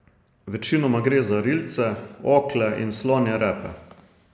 Večinoma gre za rilce, okle in slonje repe.